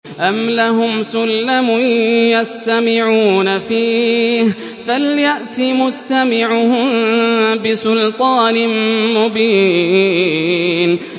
أَمْ لَهُمْ سُلَّمٌ يَسْتَمِعُونَ فِيهِ ۖ فَلْيَأْتِ مُسْتَمِعُهُم بِسُلْطَانٍ مُّبِينٍ